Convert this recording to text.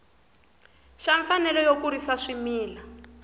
xa mfanelo yo kurisa swimila